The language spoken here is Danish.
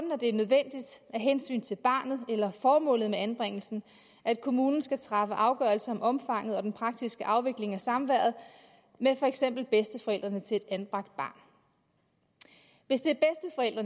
hensyn til barnet eller formålet med anbringelsen at kommunen skal træffe afgørelser om omfanget og den praktiske afvikling af samværet med for eksempel bedsteforældrene til et anbragt barn hvis det